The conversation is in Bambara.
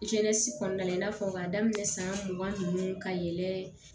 kɔnɔna la i n'a fɔ k'a daminɛ san mugan nunnu ka yɛlɛ